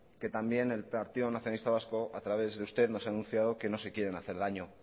que también el partido nacionalista vasco a través de usted nos ha anunciado que no se quieren hacer daño